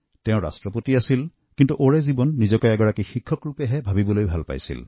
সেইগৰাকী যদিও ৰাষ্ট্ৰপতি আছিল কিন্তু তেওঁ গোটেই জীৱন ধৰি নিজকে এজন শিক্ষক হিচাপেই প্ৰস্তুত কৰিছিল